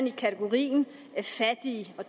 i kategorien fattig